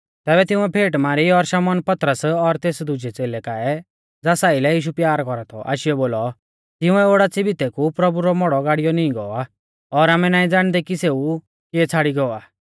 तैबै तिंउऐ फेट मारी और शमौन पतरस और तेस दुजै च़ेलै काऐ ज़ास आइलै यीशु प्यार कौरा थौ आशीयौ बोलौ तिंउऐ ओडाच़ी भितै कु प्रभु रौ मौड़ौ गाड़िऔ नींई गौ आ और आमै नाईं ज़ाणदै कि सेऊ किऐ छ़ाड़ी गौ आ